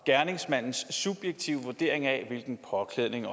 gerningsmandens subjektive vurdering af hvilken påklædning